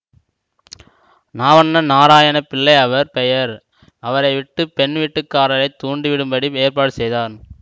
நாவன்னா நாராயண பிள்ளை அவர் பெயர் அவரை விட்டு பெண் வீட்டுக்காரரைத் தூண்டிவிடும்படி ஏற்பாடு செய்தார்